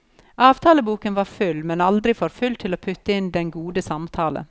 Avtaleboken var full, men aldri for full til å putte inn den gode samtale.